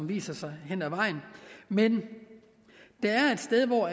viser sig hen ad vejen men der er et sted hvor